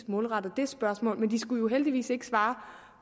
målrettet det spørgsmål men den skulle jo heldigvis ikke svare